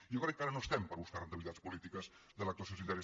i jo crec que ara no estem per buscar rendibilitats polítiques de l’actuació sanitària